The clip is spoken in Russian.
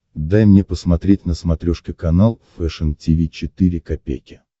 дай мне посмотреть на смотрешке канал фэшн ти ви четыре ка